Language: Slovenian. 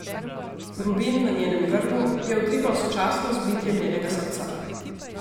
Rubin na njenem grlu je utripal sočasno z bitjem njenega srca.